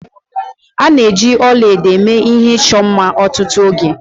A na-eji ọla edo eme ihe ịchọ mma ọtụtụ oge